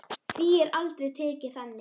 Því er aldrei tekið þannig.